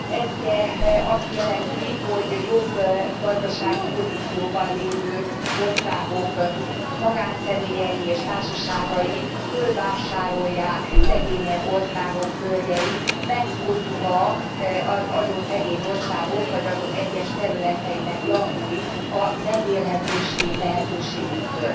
Ez ugye azt jelenti, hogy jobb gazdasági pozícióban lévő országok magánszemélyei és társaságai fölvásárolják szegényebb országok földjeit, megfosztva azon szegény országok, vagy azok egyes területeinek lakóit a megélhetési lehetőségüktől.